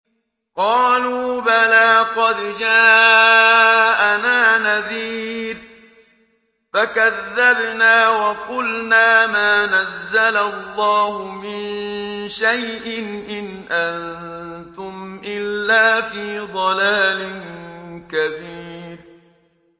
قَالُوا بَلَىٰ قَدْ جَاءَنَا نَذِيرٌ فَكَذَّبْنَا وَقُلْنَا مَا نَزَّلَ اللَّهُ مِن شَيْءٍ إِنْ أَنتُمْ إِلَّا فِي ضَلَالٍ كَبِيرٍ